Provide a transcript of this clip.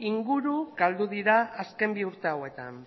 inguru galdu dira azken bi urte hauetan